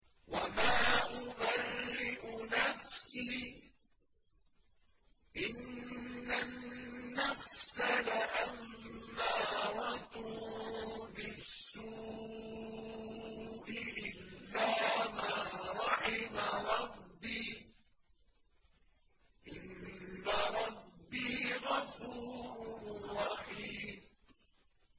۞ وَمَا أُبَرِّئُ نَفْسِي ۚ إِنَّ النَّفْسَ لَأَمَّارَةٌ بِالسُّوءِ إِلَّا مَا رَحِمَ رَبِّي ۚ إِنَّ رَبِّي غَفُورٌ رَّحِيمٌ